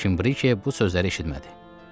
Lakin Brikiye bu sözləri eşitmədi.